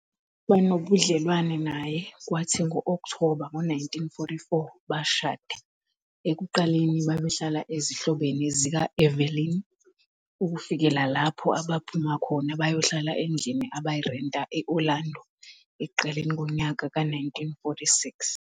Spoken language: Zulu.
Waba nobudlelwane naye, kwathi ngo-Okthoba ngo 1944 bashada, ekuqaleni babehlala ezihlobeni zika-Evelyn, ukufikela lapho abaphuma khona bayohlala endlini abayirenta e-Orlando ekuqaleni konyaka ka 1946.